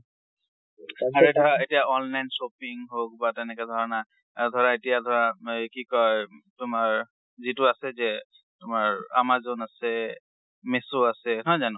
আৰু এতিয়া ধৰা online shopping হওঁক বা তেনেকে ধৰা না, আ ধৰা এতিয়া ধৰা এই কি কয় তোমাৰ যিটো আছে যে, তোমাৰ amazon আছে, মিশো আছে, নহয় জানো?